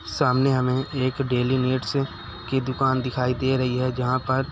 सामने हमें एक डेली नीड्स की दुकान दिखाई दे रही है जहाँ पर --